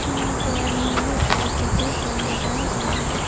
यहां पर नीले और सफेद रंग लगाए गए हैं।